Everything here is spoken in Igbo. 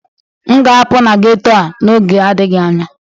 M ga-apụ na ghetto a n'oge adịghị anya